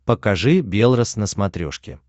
покажи белрос на смотрешке